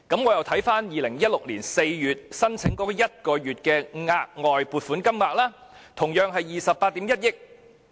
我再看看2016年4月向財委會申請1個月的額外撥款金額，同樣是28億 1,000 萬元。